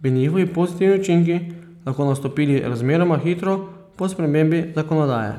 bi njihovi pozitivni učinki lahko nastopili razmeroma hitro po spremembi zakonodaje.